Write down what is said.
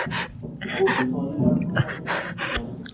অবশ্যই আমি তো online এ order করেছি আপনাদের এখান থেকেই তো আসবে।